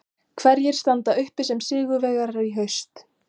Hverjir standa uppi sem sigurvegarar í haust?